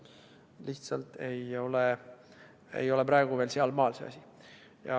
Lihtsalt ei ole praegu veel sealmaal see asi.